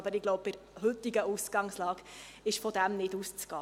Aber ich glaube, bei der heutigen Ausgangslage ist nicht davon auszugehen.